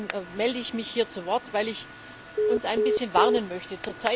Deswegen melde ich mich hier zu Wort, auch weil ich uns ein bisschen warnen möchte.